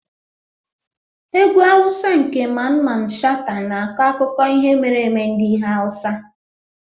Egwu Hausa nke Mamman Shata na-akọ akụkọ ihe mere eme ndị Hausa.